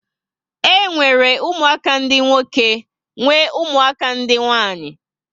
E nwere ụmụaka dị nwoke nwe ụmụaka ndị nwanyị